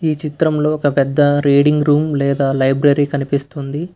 ఈ చిత్రంలో ఒక పెద్ద రీడింగ్ రూమ్ లేదా లైబ్రరీ కనిపిస్తుంది.